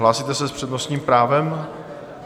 Hlásíte se s přednostním právem?